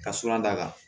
Ka sura d'a kan